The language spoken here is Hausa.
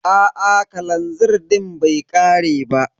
Aa kalanzir din bai ƙare ba.